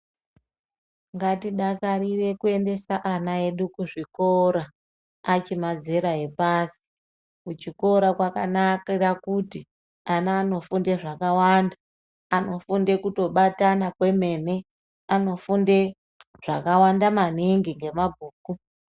Ngatidakarire kuendesa ana edu kuzvikora achiri mazera epasi kuchikora kwakanakire kuti ana anofunde zvakawanda anofunde kutobatana kwemene anofunde zvakawanda maningi ngemabhuku.